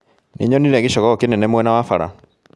Nĩnyonire gĩcogoo kĩnene mwena wa bara